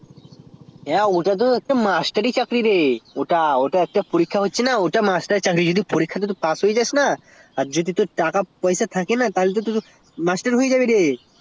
হ্যা ওটা তো একটা মাস্টারি চাকরি ওইটাতে যদি পাশ হয়ে যাস তাহলে আর যদি তোর টাকা পয়সা থাকে তাহেল তোর তো হয়ে যাবে রে